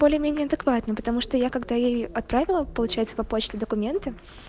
более менее адекватно потому что я когда ей отправила получается по почте документы